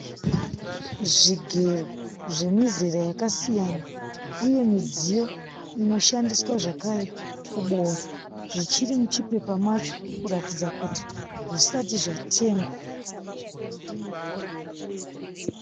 Zvigero zvemizera yakasiyana. uye midziyo inoshandiswa zvakare kuboora. Zvichiri muchipepa macho kuratidza kuti hazvisati zvatengwa.